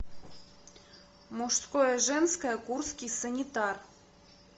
мужское женское курский санитар